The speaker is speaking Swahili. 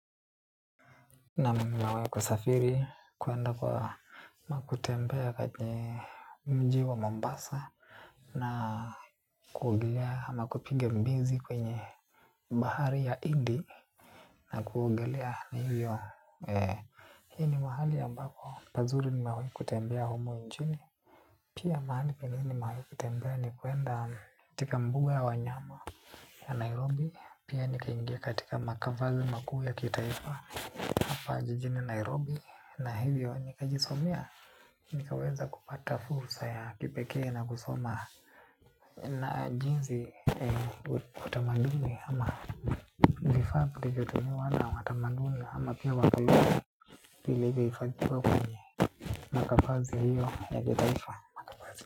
Naam nimewai kusafiri ama kutembea kwenye mji wa Mombasa na kuogelea ama kupiga mbizi kwenye bahari ya Indi na kuogelea ni hivyo hii ni mahali ambako pazuri nimewai kutembea humu nchini pia mahali penye nimewai kutembea ni kuenda katika mbuga ya wanyama ya Nairobi. Pia nikaingia katika makavali makuu ya kitaifa hapa jijini Nairobi, na hivyo nikajisomea, nikaweza kupata fursa ya kipekee na kusoma na jinsi utamaduni ama vifaa vilivyotumiwa na watamanduni, ama pia wakaliwa zili hifadhiwa kwenye, makafazi hiyo ya kitaifa.